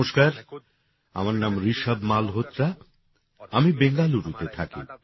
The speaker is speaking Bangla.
নমস্কার আমার নাম রিশভ মালহোত্রা আমি বেঙ্গালুরুতে থাকি